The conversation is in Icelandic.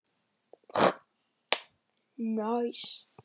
Þú meinar engu!